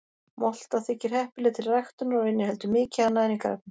Molta þykir heppileg til ræktunar og inniheldur mikið af næringarefnum.